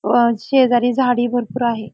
व शेजारी झाडी भरपूर आहे.